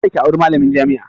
Kada ki auri malamin jami'a!